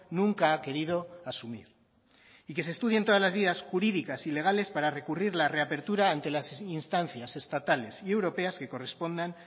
nunca ha querido asumir y que se estudien todas las vías jurídicas y legales para recurrir la reapertura ante las instancias estatales y europeas que correspondan